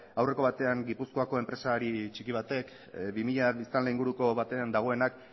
aurreko batean gipuzkoako enpresari txiki batek bi mila biztanle inguruko batean dagoenak